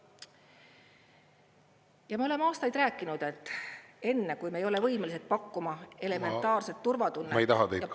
Ja me oleme aastaid rääkinud, et enne kui me ei ole võimelised pakkuma elementaarset turvatunnet ja palliatiivravi ...